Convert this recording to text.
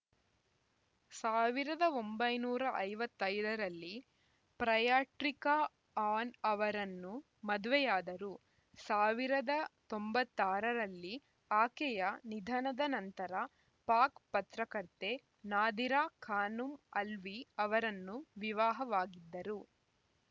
ಸಾವಿರದ ಒಂಬೈನೂರ ಐವತ್ತ್ ಐದ ರಲ್ಲಿ ಪ್ರಯಾಟ್ರಿಕಾ ಆ್ಯನ್‌ ಅವರನ್ನು ಮದುವೆಯಾದರು ಸಾವಿರದ ಒಂಬೈನೂರ ತೊಂಬತ್ತಾರರಲ್ಲಿ ಆಕೆಯ ನಿಧನದ ನಂತರ ಪಾಕ್‌ ಪತ್ರಕರ್ತೆ ನಾದಿರಾ ಖಾನುಂ ಅಲ್ವಿ ಅವರನ್ನು ವಿವಾಹವಾಗಿದ್ದರು